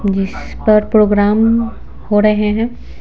जिस पर प्रोग्राम हो रहे हैं।